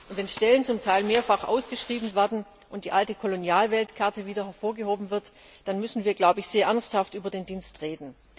Und wenn Stellen zum Teil mehrfach ausgeschrieben werden und die alte Kolonialweltkarte wieder hervorgeholt wird, dann müssen wir sehr ernsthaft über den Dienst reden.